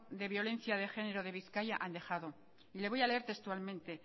de violencia de género de bizkaia han dejado y le voy a leer textualmente